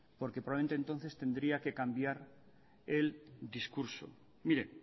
porque probablemente entonces tendría que cambiar el discurso mire